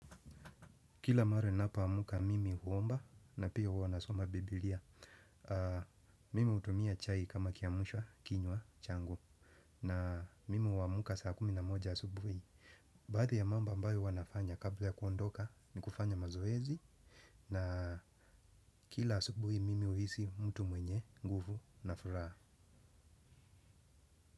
Kila mara napoamka mimi huomba na pia huwa nasoma Biblia. Mimi hutumia chai kama kiamsha kinywa changu na mimi huamka saa kumi na moja asubuhi. Baadhi ya mambo ambayo huwa nafanya kabla ya kuondoka ni kufanya mazoezi na kila asubuhi mimi huhisi mtu mwenye, nguvu na furaha.